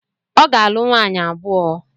Ọ ga-alụ nwaanyị abụọ.